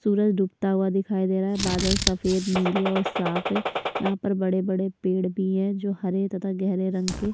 सूरज डूबता हुआ दिखाई दे रहा है बादल सफ़ेद नीले और साफ़ है यहाँ पर बड़े-बड़े पेड़ भी है जो हरे तथा गहरे रंग के--